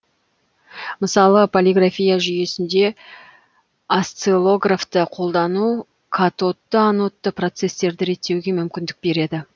мысалы полярография жүйесінде осциллографты қолдану катодты анодты процестерді реттеуге мүмкіндік береді